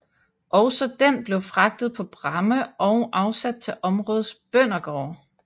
Også den blev fragtet på pramme og afsat til områdets bøndergårde